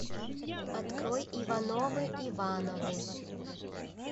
открой ивановы ивановы